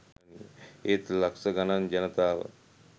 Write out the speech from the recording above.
ඒත් ලක්ෂ ගණන් ජනතාව